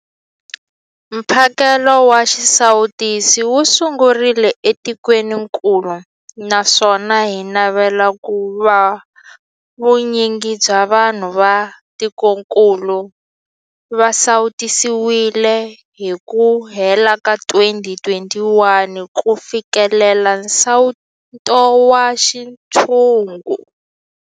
Mphakelo wa xisawutisi wu sungurile etikwenikulu naswona hi navela ku va vu nyingi bya vanhu va tikokulu va sawutisiwile hi ku hela ka 2021 ku fikelela nsawuto wa xintshungu.